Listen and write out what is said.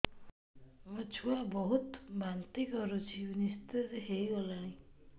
ମୋ ଛୁଆ ବହୁତ୍ ବାନ୍ତି କରୁଛି ନିସ୍ତେଜ ହେଇ ଗଲାନି